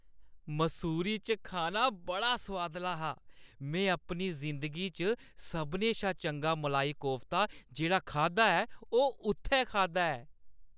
मसूरी च खाना बड़ा सुआदला हा। में अपनी जिंदगी च सभनें शा चंगा मलाई कोफ्ता जेह्‌ड़ा खाद्धा ऐ ओह् उत्थै खाद्धा ऐ।